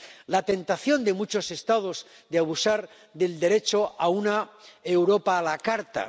la tentación de muchos Estados de abusar del derecho a una Europa a la carta.